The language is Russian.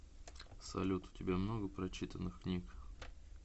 салют у тебя много прочитанных книг